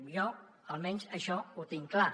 jo almenys això ho tinc clar